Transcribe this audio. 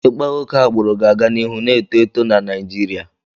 Ịkpa oke agbụrụ ga-aga n'ihu na-eto eto na Naịjirịa.